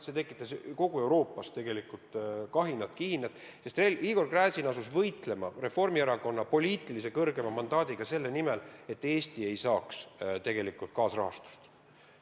See tekitas kogu Euroopas kahinat-kihinat, sest Igor Gräzin asus võitlema Reformierakonna poliitilise kõrgeima mandaadiga selle nimel, et Eesti ei saaks tegelikult rahastust.